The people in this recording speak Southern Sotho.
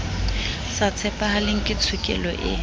sa tshepahaleng ke tshokelo e